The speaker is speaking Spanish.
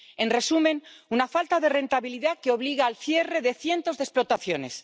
En resumen, una falta de rentabilidad que obliga al cierre de cientos de explotaciones.